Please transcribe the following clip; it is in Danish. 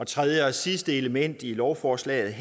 tredje og sidste element i lovforslaget